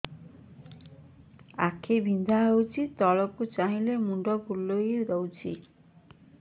ଆଖି ବିନ୍ଧା ହଉଚି ତଳକୁ ଚାହିଁଲେ ମୁଣ୍ଡ ବୁଲେଇ ଦଉଛି